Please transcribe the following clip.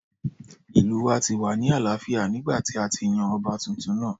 Ìlú wa ti wà ní àlááfíà nígbàtí a ti yan ọba tuntun náà